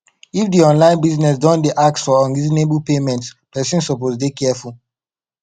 if di online business don dey ask for unreasonable payment person suppose dey careful